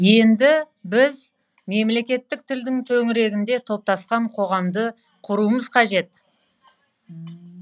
енді біз мемлекеттік тілдің төңірегінде топтасқан қоғамды құруымыз қажет